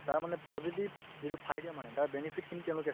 তাৰ মানে positive যিটো faida মানে তাৰ benefit খিনি তেওঁলোকে চায় ।